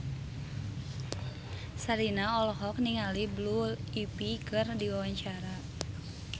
Sherina olohok ningali Blue Ivy keur diwawancara